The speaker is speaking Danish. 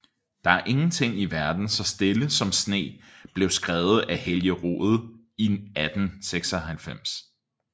Der er ingenting i verden så stille som sne blev skrevet af Helge Rode i 1896